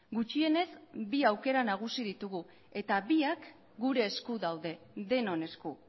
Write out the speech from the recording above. gutxienez bi aukera nagusi ditugu eta biak gure esku daude denon esku